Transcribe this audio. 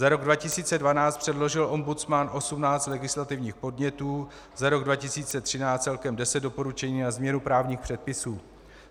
Za rok 2012 předložil ombudsman 18 legislativních podnětů, za rok 2013 celkem 10 doporučení na změnu právních předpisů.